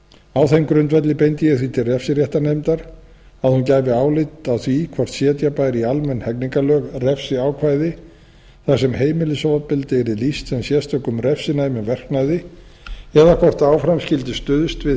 á þeim grundvelli beindi ég því til refsiréttarnefndar að hún gæfi álit á því hvort setja bæri í almenn hegningarlög refsiákvæði þar sem heimilisofbeldi yrði lýst sem sérstökum refsinæmum verknað eða hvort áfram skyldi stuðst við